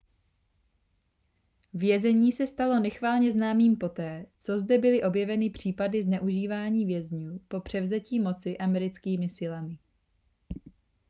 vězení se stalo nechvalně známým poté co zde byly objeveny případy zneužívání vězňů po převzetí moci americkými silami